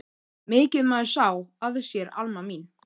Mikið maður sá að sér Alma mín.